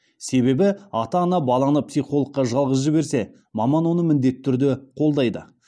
себебі ата ана баланы психологқа жалғыз жіберсе маман оны міндетті түрде қолдайды